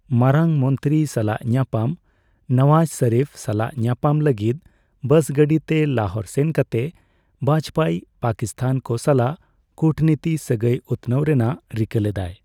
ᱢᱟᱨᱟᱝ ᱢᱚᱱᱛᱨᱤ ᱥᱟᱞᱟᱜ ᱧᱟᱯᱟᱢ ᱱᱟᱣᱟᱡ ᱥᱚᱨᱤᱯᱷ ᱥᱟᱞᱟᱜ ᱧᱟᱯᱟᱢ ᱞᱟᱹᱜᱤᱫ ᱵᱟᱥ ᱜᱟᱹᱰᱤᱛᱮ ᱞᱟᱦᱳᱨ ᱥᱮᱱ ᱠᱟᱛᱮ ᱵᱟᱡᱯᱮᱭᱤ ᱯᱟᱠᱤᱥᱛᱷᱟᱱ ᱠᱚ ᱥᱟᱞᱟᱜ ᱠᱩᱴᱱᱤᱛᱤ ᱥᱟᱹᱜᱟᱹᱭ ᱩᱛᱱᱟᱹᱣ ᱨᱮᱱᱟᱜ ᱨᱤᱠᱟᱹ ᱞᱮᱫᱟᱭ ᱾